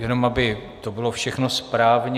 Jenom aby to bylo všechno správně.